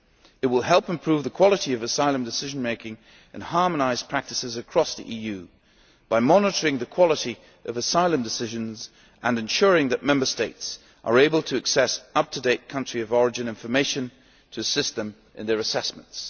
It will help improve the quality of asylum decision making and harmonise practices across the EU, by monitoring the quality of asylum decisions and ensuring that Member States are able to access up to date country of origin information to assist them in their assessments.